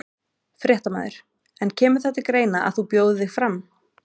Fréttamaður: En kemur það til greina að þú bjóðir þig fram?